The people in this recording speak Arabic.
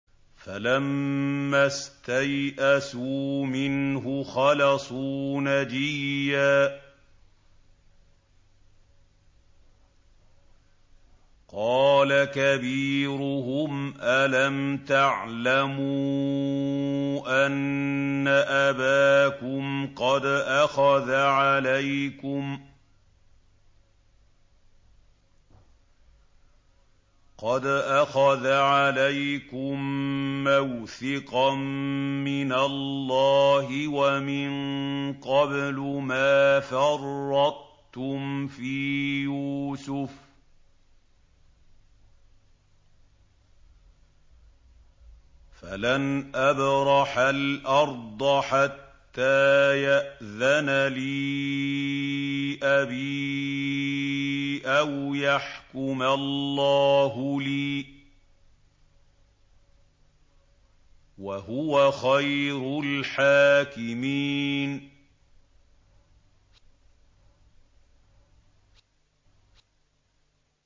فَلَمَّا اسْتَيْأَسُوا مِنْهُ خَلَصُوا نَجِيًّا ۖ قَالَ كَبِيرُهُمْ أَلَمْ تَعْلَمُوا أَنَّ أَبَاكُمْ قَدْ أَخَذَ عَلَيْكُم مَّوْثِقًا مِّنَ اللَّهِ وَمِن قَبْلُ مَا فَرَّطتُمْ فِي يُوسُفَ ۖ فَلَنْ أَبْرَحَ الْأَرْضَ حَتَّىٰ يَأْذَنَ لِي أَبِي أَوْ يَحْكُمَ اللَّهُ لِي ۖ وَهُوَ خَيْرُ الْحَاكِمِينَ